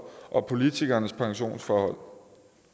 og politikernes pensionsforhold